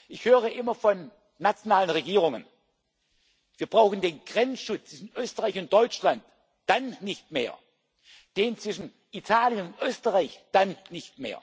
Frage. Ich höre immer von nationalen Regierungen Wir brauchen den Grenzschutz in Österreich, in Deutschland dann nicht mehr, den zwischen Italien und Österreich dann nicht mehr,